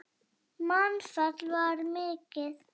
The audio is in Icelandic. Mannfall var mikið.